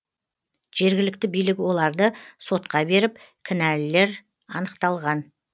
жергілікті билік оларды сотқа беріп кінәлілер анықталған